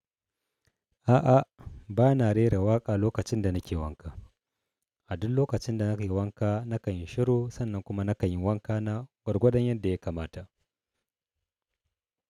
A'a, ba na rera waƙa lokacin da nake wanka. A duk lokacin da nake wanka, na kan yi shiru sannan kuma na kan yi wanka na gwargwadon yadda ya kamata.